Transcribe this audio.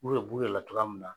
U yɛrɛ b'u yɛrɛ la cogoya min na.